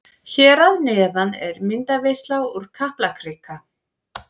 Hér að neðan er myndaveisla úr Kaplakrika.